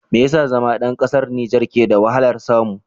Me yasa zama ɗan ƙasar Nijer ke da wahalar samu?